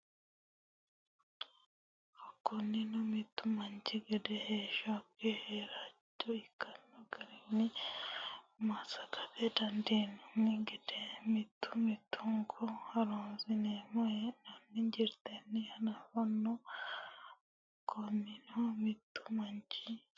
Kunino mittu manchi gede heeshshonke keeraancho ikkino garinni massagate dandiineem- gede mittu mittunku ha’runsineemmo hee’nanni jirtenni hanafanno Kunino mittu manchi.